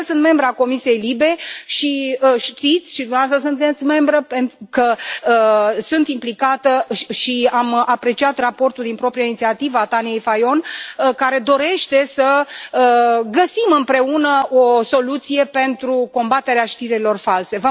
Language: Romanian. De altfel, sunt membră a comisiei LIBE și știți și dumneavoastră sunteți membră că sunt implicată și am apreciat raportul din proprie inițiativă al Tanjei Fajon, care dorește să găsim împreună o soluție pentru combaterea știrilor false.